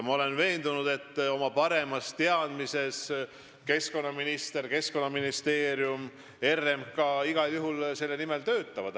Ma olen veendunud, et Keskkonnaministeerium, sh keskkonnaminister, ja RMK oma parema teadmise järgi igal juhul selle kõige nimel töötavad.